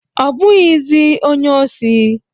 Ọ bụghịzị onye osi.